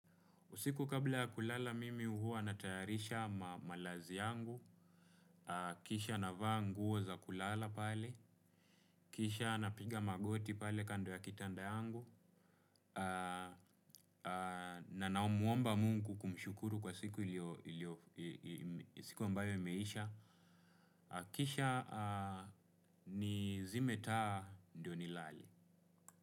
Usiku kabla ya kulala mimi hua natayarisha malazi yangu, kisha na vaa nguo za kulala pale, kisha na piga magoti pale kando ya kitanda yangu, na namuomba mungu kumshukuru kwa siku ilio, siku ambayo imeisha, kisha nizime taa ndio nilale.